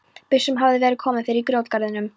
Byssum hafði verið komið fyrir á grjótgarðinum.